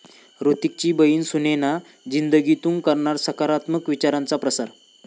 हृतिकची बहिण सुनैना 'जिंदगी'तून करणार सकारात्मक विचारांचा प्रसार